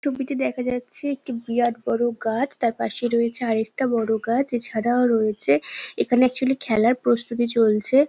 তবিতে দেখা যাচ্ছে একটি বিরাট বড়ো গাছ তার পাশে রয়েছে আর একটা বড়ো গাছ এছাড়াও রয়েছে এখানে আকচুয়ালি খেলার প্রস্তুতি চলছে।